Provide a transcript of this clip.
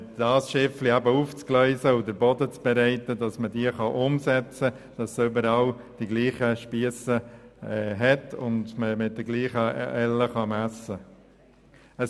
Sie dürfen dort solche aufgleisen und den Boden für eine Umsetzung vorbereiten, damit überall die gleich langen Spiesse vorhanden sind und man mit gleichen Ellen messen kann.